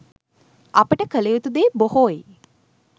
අපට කල යුතු දේ බොහෝයි